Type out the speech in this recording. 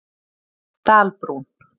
Dalbrún